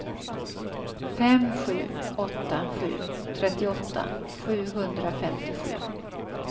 fem sju åtta sju trettioåtta sjuhundrafemtiosju